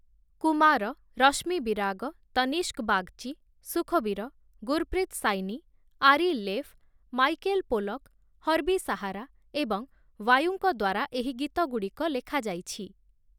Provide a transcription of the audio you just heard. Kumar, Rashmi Virag, Tanishk Bagchi, Sukhbir, Gurpreet Saini, Ari Leff, Michael Pollack, Herbie Sahara ଏବଂ ୱାୟୁଙ୍କ ଦ୍ଵାରା ଏହି ଗୀତଗୁଡ଼ିକ ଲେଖାଯାଇଛି ।